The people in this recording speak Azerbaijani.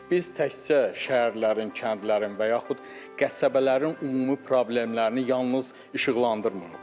Biz təkcə şəhərlərin, kəndlərin və yaxud qəsəbələrin ümumi problemlərini yalnız işıqlandırmırıq.